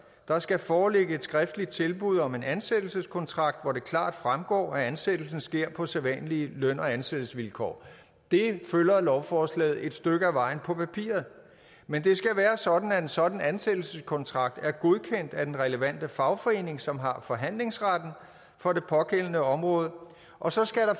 der skal foreligge et skriftligt tilbud om en ansættelseskontrakt hvor det klart fremgår at ansættelsen sker på sædvanlige løn og ansættelsesvilkår det følger lovforslaget et stykke af vejen på papiret men det skal være sådan at en sådan ansættelseskontrakt er godkendt af den relevante fagforening som har forhandlingsretten for det pågældende område og så skal der